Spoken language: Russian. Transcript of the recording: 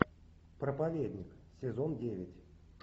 проповедник сезон девять